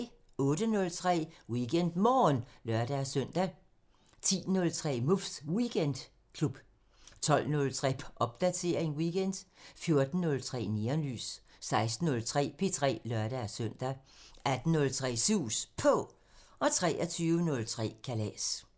08:03: WeekendMorgen (lør-søn) 10:03: Muffs Weekendklub 12:03: Popdatering weekend 14:03: Neonlys 16:03: P3 (lør-søn) 18:03: Sus På 23:03: Kalas